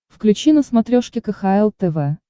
включи на смотрешке кхл тв